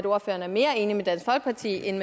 ordføreren er mere enig med dansk folkeparti end